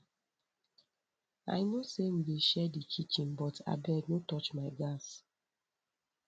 i know sey we dey share di kitchen but abeg no touch my gas